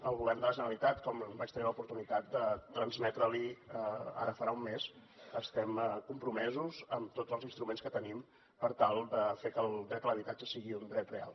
el govern de la generalitat com vaig tenir l’oportunitat de transmetre li ara farà un mes estem compromesos amb tots els instruments que tenim per tal de fer que el dret a l’habitatge sigui un dret real